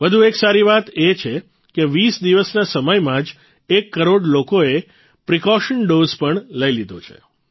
વધુ એક સારી વાત એ છે કે ૨૦ દિવસના સમયમાં જ એક કરોડ લોકોએ પ્રિકોશન ડોઝ પણ લઇ લીધો છે